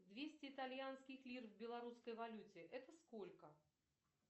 двести итальянских лир в белорусской валюте это сколько